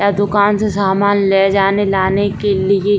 य दुकान से सामान ले जाने लाने के लिए --